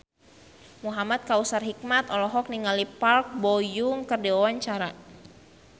Muhamad Kautsar Hikmat olohok ningali Park Bo Yung keur diwawancara